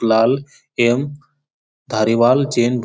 लाल एवं धारीवाल चेन --